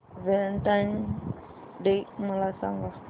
Valentine's Day मला सांग